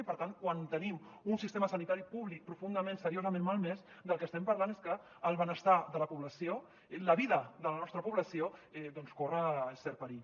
i per tant quan tenim un sistema sanitari públic profundament seriosament malmès del que estem parlant és de que el benestar de la població la vida de la nostra població doncs corre cert perill